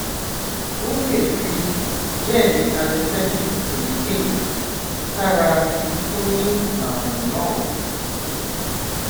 wọn lè fi gẹẹlì anesthetic èyíkéyìí sára ibi tó ní ààrùn náà